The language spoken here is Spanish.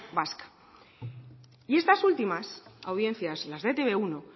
vasca y estas últimas audiencias las de e te be uno